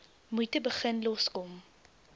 moeite begin loskom